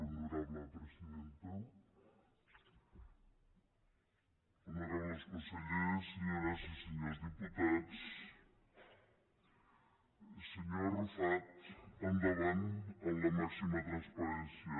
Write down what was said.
honorables consellers senyores i senyors diputats senyor arrufat endavant amb la màxima transparència